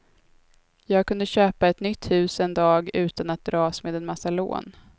Jag kunde köpa ett nytt hus en dag utan att dras med en massa lån.